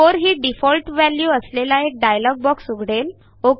4 ही default value असलेला एक डायलॉग बॉक्स उघडेल